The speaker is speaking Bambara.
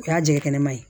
O y'a jɛgɛ kɛnɛma ye